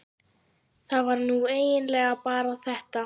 það var nú eiginlega bara þetta.